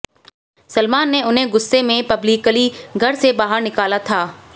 सलमान ने उन्हें गुस्से में पब्लिकली घर से बाहर निकाला था